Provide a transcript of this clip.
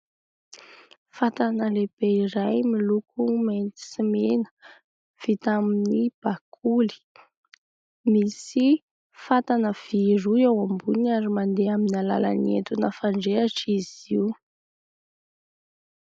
Fatana lehibe iray miloko mainty sy mena vita amin'ny bakoly, misy fatana vy roa eo ambony ary mandeha amin'ny alalan'ny entona fandrehatra izy io.